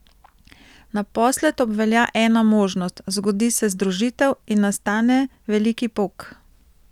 Naposled obvelja ena možnost, zgodi se združitev in nastane veliki pok!